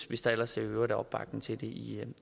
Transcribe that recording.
hvis der ellers i øvrigt er opbakning til det i